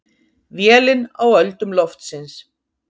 Vélin á öldum loftsins.